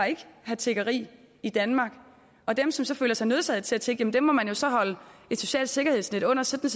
have tiggeri i danmark dem som så føler sig nødsaget til at tigge må man så holde et socialt sikkerhedsnet under sådan